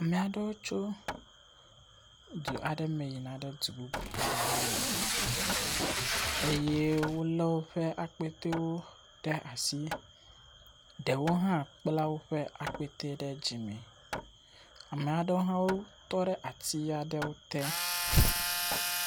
Ame aɖewo tso du aɖe me yina du bubu aɖe hã me eye wolé woƒe akpɛwo ɖe asi. Ɖewo hã kpla woƒe akpɛ ɖe dzime. Ame aɖewo hã tɔ ɖe ati aɖe te.